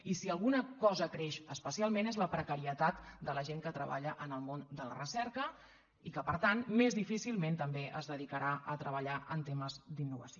i si alguna cosa creix especialment és la precarietat de la gent que treballa en el món de la recerca i que per tant més difícilment també es dedicarà a treballar en temes d’innovació